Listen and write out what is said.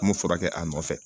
An m'o furakɛ a nɔfɛ